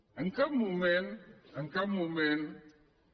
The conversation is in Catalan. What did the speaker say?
en cap moment en cap moment